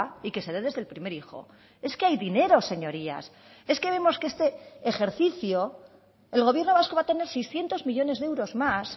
y que se dé desde el primer hijo es que hay dinero señorías es que vemos que este ejercicio el gobierno vasco va a tener seiscientos millónes de euros más